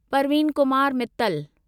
Parveen Kumar Mittal